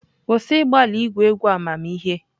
Kwụsị ịgbalị igwu egwu amamihe!